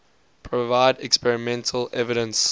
provide experimental evidence